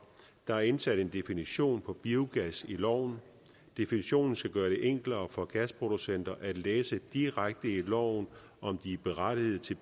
der er indsat en definition på biogas i loven definitionen skal gøre det enklere for gasproducenter at læse direkte i loven om de er berettiget til